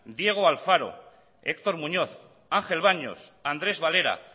diego alfaro héctor muñoz ángel baños andrés valera